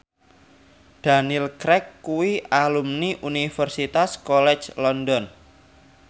Daniel Craig kuwi alumni Universitas College London